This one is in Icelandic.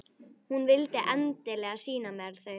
Hún vildi endilega sýna mér þau.